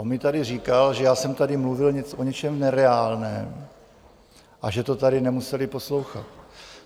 On mi tady říkal, že já jsem tady mluvil o něčem nereálném a že to tady nemuseli poslouchat.